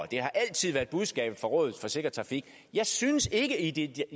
det har altid været budskabet fra rådet for sikker trafik jeg synes ikke ikke